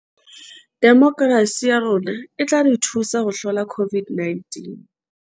Demokerasi ya rona e tla re thusa ho hlola COVID -19